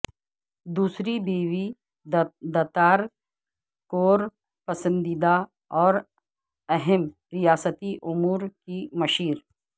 دوسری بیوی دتار کور پسندیدہ اور اہم ریاستی امور کی مشیر